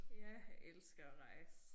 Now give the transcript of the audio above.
Ja jeg elsker at rejse